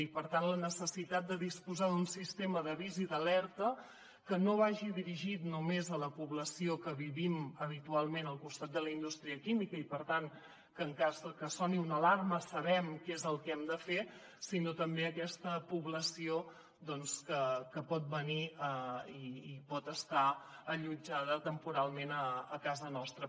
i per tant la necessitat de disposar d’un sistema d’avís i d’alerta que no vagi dirigit només a la població que vivim habitualment al costat de la indústria química i per tant que en cas de que soni una alarma sabem què és el que hem de fer sinó també a aquesta població que pot venir i pot estar allotjada temporalment a casa nostra